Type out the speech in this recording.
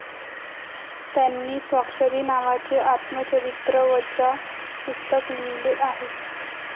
त्यांनी स्वाक्षरी नावाचे आत्मचरित्रवजा पुस्तक लिहिले आहे.